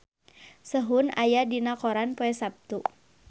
Sehun aya dina koran poe Saptu